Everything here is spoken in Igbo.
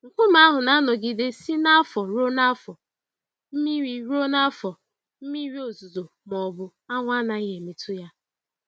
Nkume ahụ na-anọgide si n'afọ ruo n'afọ, mmiri ruo n'afọ, mmiri ozuzo ma ọ bụ anwụ anaghị emetụ ya.